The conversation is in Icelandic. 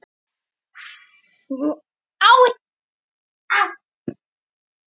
Theodór Elmar átti góða innkomu í íslenska landsliðið á EM í Frakklandi.